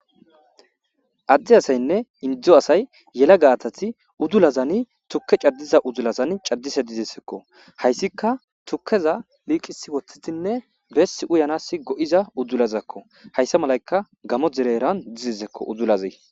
Ade asayne Indo asay yelagati udulazani tuke c'adiza udulazani c'adishe dizaysako haysika tukeza liqisi wotidine besi uyanas go'za udulazako haysa malayka gamo derera dizako udulazi.